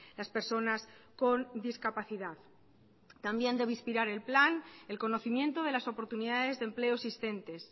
las personas con discapacidad también debe inspirar el plan el conocimiento de las oportunidades de empleo existentes